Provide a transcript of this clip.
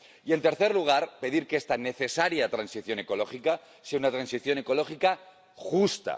Y en tercer lugar, pedir que esta necesaria transición ecológica sea una transición ecológica justa.